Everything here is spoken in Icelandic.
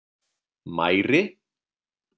Mæri